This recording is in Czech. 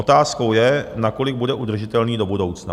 Otázkou je, nakolik bude udržitelný do budoucna.